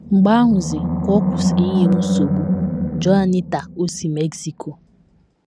Mgbe ahụzi ka ọ kwụsịrị inye m nsogbu. Juanita, o si Mexico.